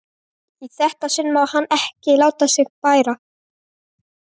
Í þetta sinn má hann ekki láta á sér bæra.